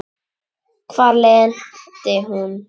Hvar lenti hún?